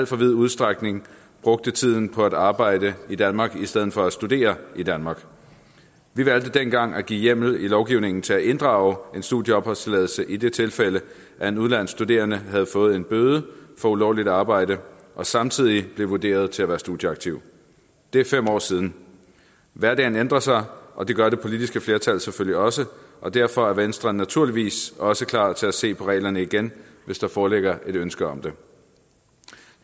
for vid udstrækning brugte tiden på at arbejde i danmark i stedet for at studere i danmark vi valgte dengang at give hjemmel i lovgivningen til at inddrage en studieopholdstilladelse i det tilfælde at en udenlandsk studerende havde fået en bøde for ulovligt arbejde og samtidig blev vurderet til at være studieaktiv det er fem år siden hverdagen ændrer sig og det gør det politiske flertal selvfølgelig også og derfor er venstre naturligvis også klar til at se på reglerne igen hvis der foreligger et ønske om det